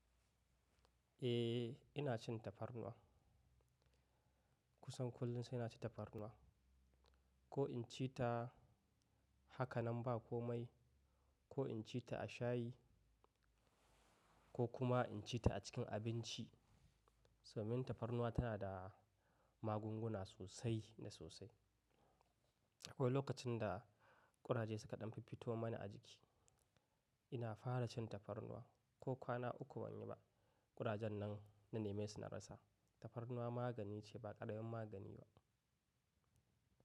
Eh, ina cin tafarnuwa. Kusan kullum sai ina ci tafarnuwa. Ko in ci ta haka nan ba komai, ko in ci ta a shayi ko kuma in ci ta a cikin abinci. Somin tafarnuwa tana da magunguna sosai da sosai. Akwai lokacin da ƙuraje suka ɗan fiffito mani a jiki, ina fara cin tafarnuwa. Ko kwana uku ban yi ba, ƙurajen nan na neme su na rasa. Tafarnuwa magani ce ba ƙaramin magani ba.